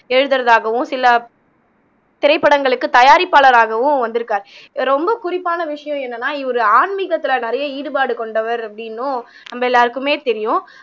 எழுதுறதாகவும் சில திரைப்படங்களுக்கு தயாரிப்பாளராகவும் வந்துருக்காரு ரொம்ப குறிப்பான விஷயம் என்னன்னா இவரு ஆன்மீகத்துல நிறைய ஈடுபாடு கொண்டவர் அப்படின்னும் நம்ம எல்லாருக்குமே தெரியும்